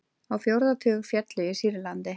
Á fjórða tug féllu í Sýrlandi